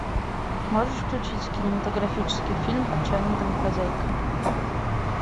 можешь включить кинематографический фильм отчаянная домохозяйка